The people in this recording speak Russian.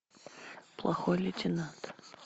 плохой лейтенант